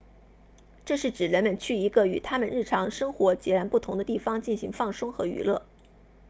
这是指人们去一个与他们日常生活截然不同的地方进行放松和娱乐